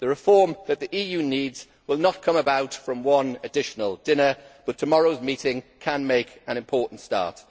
The reform that the EU needs will not come about from one additional dinner, but tomorrow's meeting can make an important start.